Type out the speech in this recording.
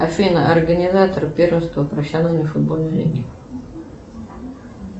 афина организатор первенства профессиональной футбольной лиги